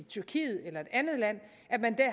tyrkiet eller et andet land